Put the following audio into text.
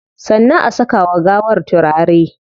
Sannan a saka wa gawar turare